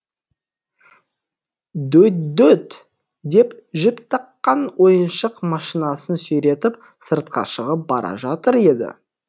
дө дөт деп жіп таққан ойыншық машинасын сүйретіп сыртқа шығып бара жатыр еді